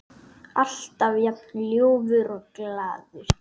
Alltaf jafn ljúfur og glaður.